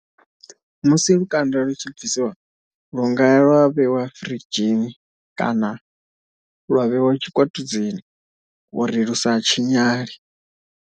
Musi lukanda lu tshi bvisiwa lu nga ya lwa vheiwa firidzhini kana lwa vheiwa tshikwatudzini uri lu sa tshinyale.